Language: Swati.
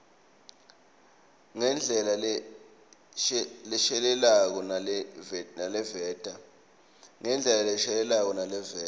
ngendlela leshelelako naleveta